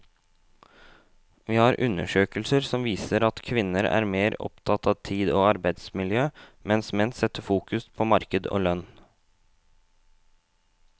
Vi har undersøkelser som viser at kvinner er mer opptatt av tid og arbeidsmiljø, mens menn setter fokus på marked og lønn.